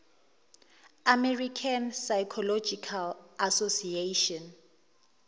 american psychological association